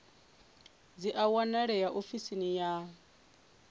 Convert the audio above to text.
dzi a wanalea ofisini ya